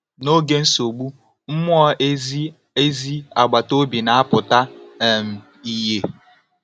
N’oge nsogbu, mmụọ ezi ezi agbata obi na-apụta um ìhè.